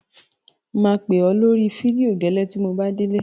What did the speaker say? Mà á pè ọ lórí fídíò gẹ́lẹ́ tí mo bá délé.